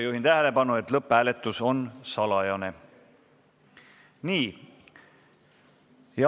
Juhin tähelepanu, et lõpphääletus on salajane.